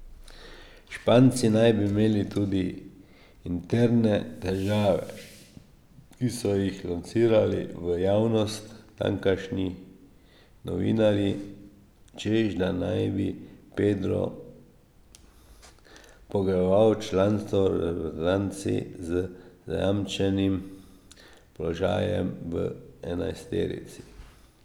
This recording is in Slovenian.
Španci naj bi imeli tudi interne težave, ki so jih lansirali v javnost tamkajšnji novinarji, češ da naj bi Pedro pogojeval članstvo v reprezentanci z zajamčenim položajem v enajsterici.